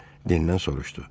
deyə Dendən soruşdu.